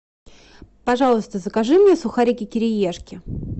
пожалуйста закажи мне сухарики кириешки